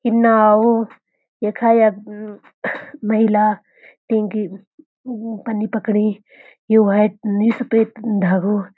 ये नाव यखा यख महिला तिंकी पन्नी पकड़ी यु वाइट नि सफ़ेद धागो।